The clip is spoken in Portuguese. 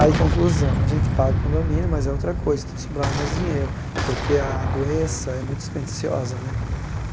Aí, conclusão, a gente paga o condomínio, mas é outra coisa, então sobrava mais dinheiro, porque a doença é muito dispendiciosa, né?